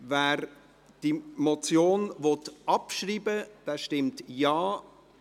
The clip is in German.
Wer die Motion abschreiben will, stimmt Ja,